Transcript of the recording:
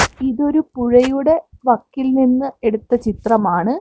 ഇതൊരു പുഴയുടെ വക്കിൽ നിന്നും എടുത്ത ചിത്രമാണ്.